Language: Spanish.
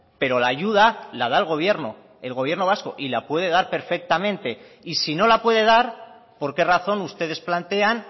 pero la ayuda la da el gobierno el gobierno vasco y la puede dar perfectamente y si no la puede dar por qué razón ustedes plantean